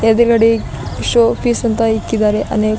ಎದ್ರುಗಡೆ show piece ಅಂತ ಇಕ್ಕಿದ್ದಾರೆ ಅನೇಕ--